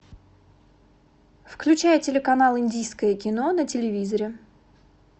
включай телеканал индийское кино на телевизоре